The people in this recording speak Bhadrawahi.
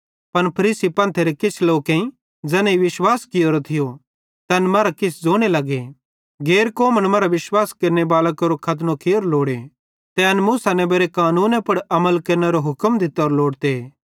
पन फरीसी पंथेरे किछ लोकेईं ज़ैनेईं विश्वास कियोरो थियो तैन मरां किछ ज़ोने लगे गैर कौमन मरां विश्वास केरनेबालां केरो खतनो कियोरो लोड़े ते एन मूसा नेबेरे कानूने पुड़ अमल केरनेरो हुक्म दित्तोरो लोड़ते